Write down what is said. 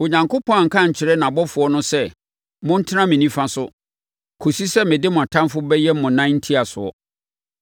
Onyankopɔn anka ankyerɛ nʼabɔfoɔ no sɛ, “Montena me nifa so kɔsi sɛ mede mo atamfoɔ bɛyɛ mo nan ntiasoɔ.”